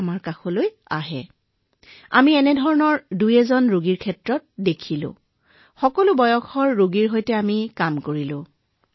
গতিকে আমি এনেকুৱা ১২টা ঘটনা দেখিছিলো মহোদয় আৰু এনে নহয় আমি প্ৰতিটো বয়সৰ গোটৰ সৈতে কাম কৰিছিলো মহোদয়